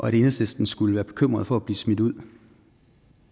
at enhedslisten skulle være bekymret for at blive smidt ud